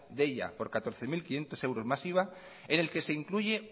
deia por catorce mil quinientos euros más iva en el que se incluye